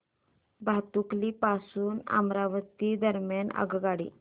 भातुकली पासून अमरावती दरम्यान आगगाडी